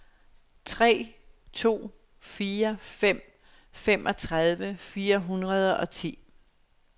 tre to fire fem femogtredive fire hundrede og ti